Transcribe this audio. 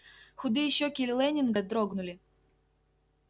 худые щеки лэннинга дрогнули